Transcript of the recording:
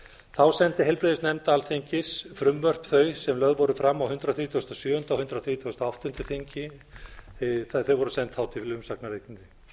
þá sendi heilbrigðisnefnd alþingis frumvarp þau sem lögð voru fram á hundrað þrítugasta og sjöunda og hundrað þrítugasta og áttunda þingi þau voru send þá til umsagnar við